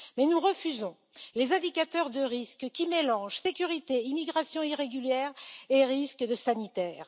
Cependant, nous refusons les indicateurs de risque qui mélangent sécurité, immigration irrégulière et risque sanitaire.